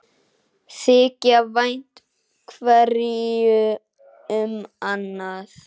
Þykja vænt hverju um annað.